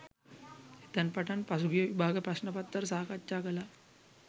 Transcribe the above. එතැන් පටන් පසුගිය විභාග ප්‍රශ්න පත්‍ර සාකච්ඡා කළා